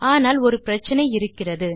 ஆனால் ஒரு பிரச்சினை இருக்கிறது